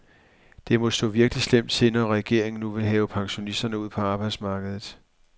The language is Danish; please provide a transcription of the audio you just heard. Det må stå virkelig slemt til, når regeringen nu vil have pensionisterne ud på arbejdsmarkedet.